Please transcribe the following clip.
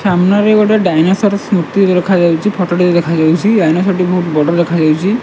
ସାମ୍ନାରେ ଡାଇନେସର ର ସ୍ମୁତି କୁ ରଖାଯାଇଛି ଫଟ ଦେଖାଯାଉଛି ଡାଇନେସର ବହୁତ ବଡ ଦେଖାଯାଉଛି।